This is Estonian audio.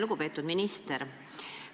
Lugupeetud minister!